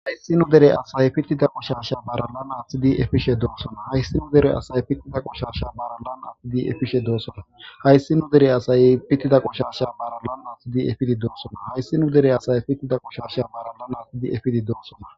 Hayssi nu dere asay pitida qoshasha baralan atidi efishe de7osona. Hayssi nu dere asay pitida qoshaasha baralan aatidi efishe doosona. Hayssi nu dere asay pitida qoshaasha baralan aatidi efishe doosona. Hayssi nu dere asay pitida qoshaasha baralan aatidi efishe doosona.